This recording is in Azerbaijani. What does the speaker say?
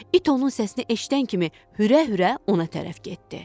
İt onun səsini eşidən kimi hürə-hürə ona tərəf getdi.